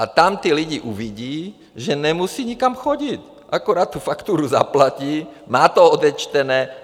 A tam ti lidé uvidí, že nemusejí nikam chodit, akorát tu fakturu zaplatí, má to odečtené.